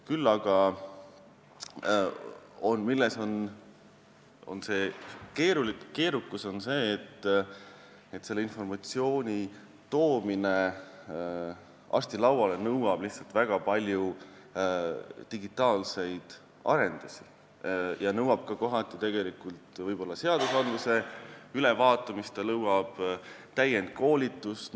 Küll aga seisneb keerukus selles, et informatsiooni toomine arsti lauale nõuab väga palju digitaalseid arendusi ja kohati ka seaduste ülevaatamist, samuti täienduskoolitust.